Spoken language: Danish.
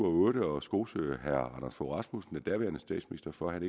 og otte og skosede herre anders fogh rasmussen den daværende statsminister for at